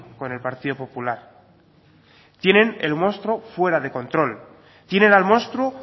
con el partido popular tienen el monstruo fuera de control tienen al monstruo